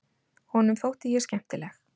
Honum þótti ég skemmtileg.